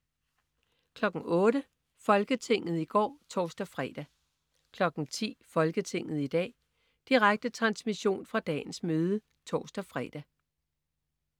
08.00 Folketinget i går (tors-fre) 10.00 Folketinget i dag. Direkte transmission fra dagens møde (tors-fre)